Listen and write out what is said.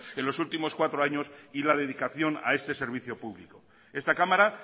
en los últimos cuatro años y la dedicación a este servicio público esta cámara